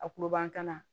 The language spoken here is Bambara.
A kuluba tana